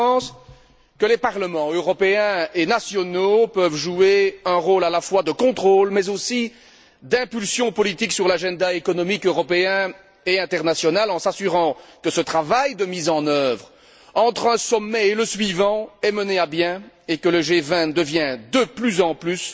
Je pense que le Parlement européen et les parlements nationaux peuvent jouer un rôle à la fois de contrôle mais aussi d'impulsion politique sur l'agenda économique européen et international en s'assurant que ce travail de mise en œuvre, entre un sommet et le suivant, soit mené à bien et que le G20 devienne de plus en plus